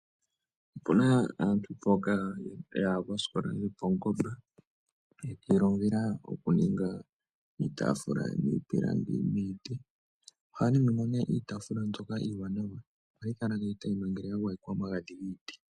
Opuna aantu mboka yaya koosikola dhopaungomba, yiilongela oku ninga iitafuula miipilangi nomiiti. Ohaya ningi mo nee iitaafula mbyoka iiwanawa ohayi kala nee tayi monikwa nawa ngele ya gwayekwa omagadhi giiti.